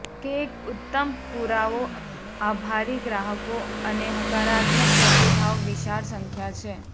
કે એક ઉત્તમ પુરાવો આભારી ગ્રાહકો અને હકારાત્મક પ્રતિભાવ વિશાળ સંખ્યા છે